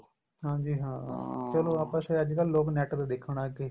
ਹਾਂਜੀ ਹਾਂ ਚਲੋ ਆਪਾਂ ਅੱਜਕਲ ਲੋਕ NET ਤੇ ਦੇਖਣ ਲੱਗ ਗਏ